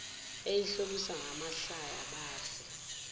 eyihlobisa ngamahlaya bafe